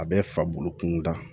A bɛ fa bolo kunda